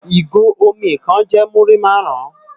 Igó ómì kán jè múri màrún